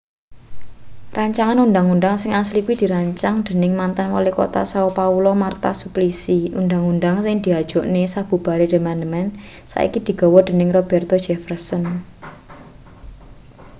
rancangan undhang-undhang sing asli kuwi dirancang dening mantan walikota são paulo marta suplicy. undhang-undhang sing diajokne sabubare diamandemen saiki digawa dening roberto jefferson